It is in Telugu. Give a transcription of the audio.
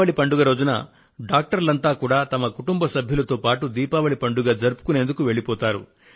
దీపావళి పండుగ రోజున వైద్యులంతా కూడా వారి వారి కుటుంబ సభ్యులతో పాటు దీపావళి పండుగ జరుపుకొనేందుకు తరలివెళ్తారు